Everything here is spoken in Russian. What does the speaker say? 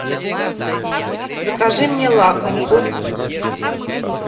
закажи мне лакомку